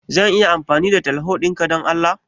Zan iya amfani da teleho dinga Dan Allah?